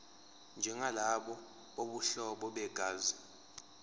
njengalabo bobuhlobo begazi